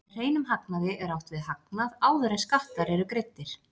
Með hreinum hagnaði er átt við hagnað áður en skattar eru greiddir.